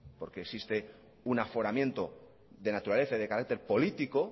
porque existe un aforamiento de naturaleza y de carácter político